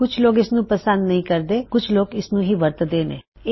ਕੁੱਛ ਲੋਗ ਇਸਦਾ ਇਸਤੇਮਾਲ ਪਸੰਦ ਨਹੀ ਕਰਦੇ ਤੇ ਕੁਛ ਲੋਗ ਇਸਨੂੰ ਹੀ ਵਰਤਦੇ ਨੇਂ